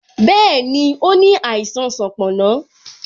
Bẹẹni, ó ní àìsàn sanponna